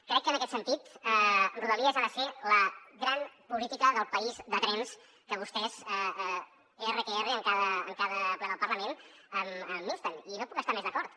crec que en aquest sentit rodalies ha de ser la gran política del país de trens a què vostès erre que erre en cada ple del parlament m’insten i no hi puc estar més d’acord